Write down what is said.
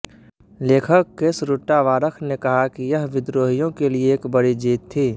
लेखक कैसरुट्टावारख ने कहा कि यह विद्रोहियों के लिए एक बड़ी जीत थी